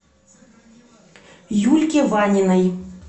юльке ваниной